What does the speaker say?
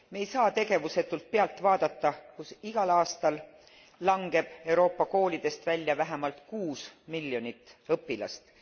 Me ei saa tegevusetult pealt vaadata, kui igal aastal langeb Euroopa koolidest välja vähemalt kuus miljonit õpilast.